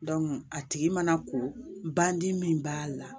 a tigi mana ko bandi min b'a la